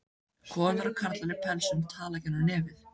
Konur og karlar í pelsum tala gegnum nefið.